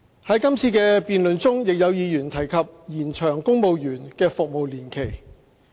在今次的議案辯論中，亦有議員提及延長公務員的服務年期。